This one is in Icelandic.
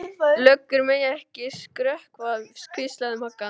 Löggur mega ekki skrökva, hvíslaði Magga.